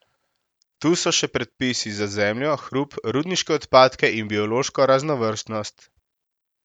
Tu so še predpisi za zemljo, hrup, rudniške odpadke in biološko raznovrstnost.